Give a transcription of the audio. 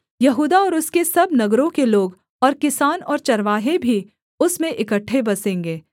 यहूदा और उसके सब नगरों के लोग और किसान और चरवाहे भी उसमें इकट्ठे बसेंगे